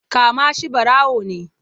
Kama shi ɓarawo ne!